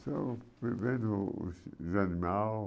Só os animais.